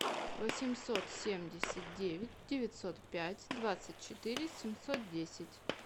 восемьсот семьдесят девять девятьсот пять двадцать четыре семьсот десять